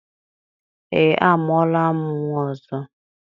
Ee, amụọla m nnwa ọzọ.